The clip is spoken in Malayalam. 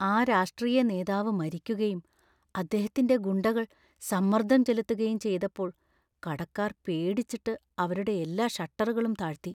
ആ രാഷ്ട്രീയ നേതാവ് മരിക്കുകയും അദ്ദേഹത്തിന്‍റെ ഗുണ്ടകൾ സമ്മർദ്ദം ചെലുത്തുകയും ചെയ്തപ്പോൾ കടക്കാർ പേടിച്ചിട്ട് അവരുടെ എല്ലാ ഷട്ടറുകളും താഴ്ത്തി.